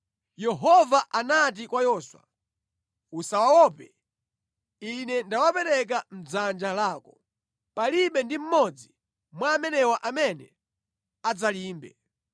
Yehova anati kwa Yoswa, “Usawaope, Ine ndawapereka mʼdzanja lako. Palibe ndi mmodzi mwa amenewa amene adzalimbe.”